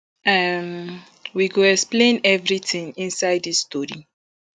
um we go explain eviritin inside dis tori